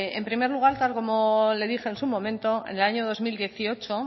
en primer lugar tal como le dije en su momento en el año dos mil dieciocho